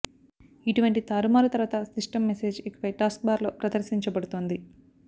ఇటువంటి తారుమారు తరువాత సిస్టమ్ మెసేజ్ ఇకపై టాస్క్బార్ లో ప్రదర్శించబడుతుంది